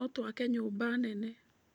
No twake nyũmba nene.